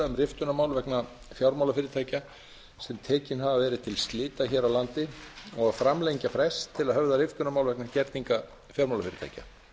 riftunarmál vegna fjármálafyrirtækja sem tekin hafa verið til slita hér á landi og að framlengja frest til að höfða riftunarmál vegna gerninga fjármálafyrirtækja